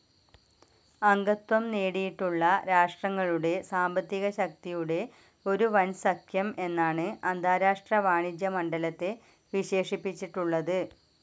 അംഗത്വം നേടിയിട്ടുള്ള രാഷ്ട്രങ്ങളുടെ സാമ്പത്തികശക്തിയുടെ ഒരു വൻസഖ്യം എന്നാണ് അന്താരാഷ്ട്ര വാണിജ്യ മണ്ഡലത്തെ വിശേഷിപ്പിച്ചിട്ടുള്ളത്.